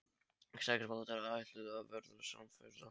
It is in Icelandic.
Sex bátar ætluðu að verða samferða.